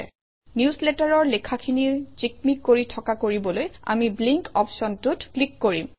নিউজলেটাৰৰ লেখাখিনি জিকমিক কৰি থকা কৰিবলৈ আমি ব্লিংক অপশ্যনটোত ক্লিক কৰিম